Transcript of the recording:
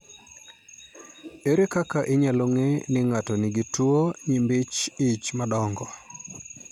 Ere kaka inyalo ng'e ni ng'ato nigi tuwo nyimbi ich madongo?